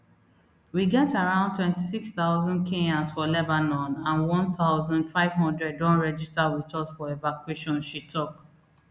we get around twenty-six thousand kenyans for lebanon and one thousand, five hundred don register wit us for evacuation she tok